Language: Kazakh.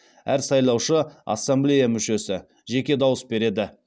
әр сайлаушы ассамблея мүшесі жеке дауыс береді